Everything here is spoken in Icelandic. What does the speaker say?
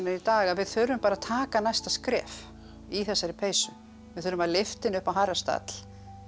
í dag að við þurfum bara að taka næsta skref í þessari peysu við þurfum að lyfta henni upp á hærri stall